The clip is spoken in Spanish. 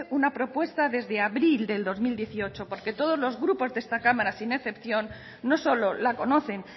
una propuesta desde abril del dos mil dieciocho porque todos los grupos de esta cámara sin excepción no solo la conocen